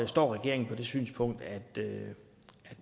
står regeringen på det synspunkt at det